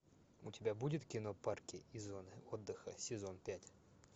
у тебя будет кино парки и зоны отдыха сезон пять